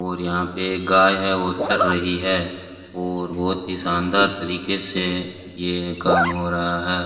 और यहाँ पे एक गाय है वो चर रही है और बहोत ही शानदार तरिके से ये काम हो रहा है।